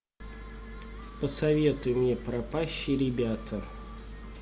посоветуй мне пропащие ребята